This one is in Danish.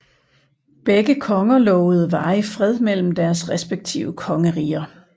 Begge konger lovede varig fred mellem deres respektive kongeriger